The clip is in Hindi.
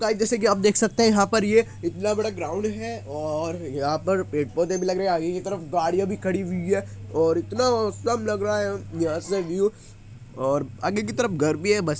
गाइज जैसे कि आप देख सकते हैं यहाँ पर ये इतना बड़ा ग्राउंड है और यहाँ पर पेड़-पौधे भी लग रहें है आगे की तरफ गाड़ियां भी खड़ी हुई है और इतना ओसम लग रहा है यहां से व्यू और आगे की तरफ घर भी है बस --